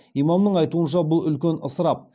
имамның айтуынша бұл үлкен ысырап